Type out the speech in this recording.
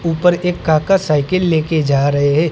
ऊपर एक काका साइकल लेके जा रहे हैं।